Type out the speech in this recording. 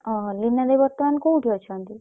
ଓହୋ ଲିନା ଦେଇ ବର୍ତମାନ୍ କୋଉଠି ଅଛନ୍ତି?